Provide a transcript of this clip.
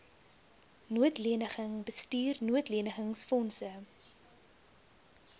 noodleniging bestuur noodlenigingsfondse